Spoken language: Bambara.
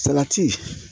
Salati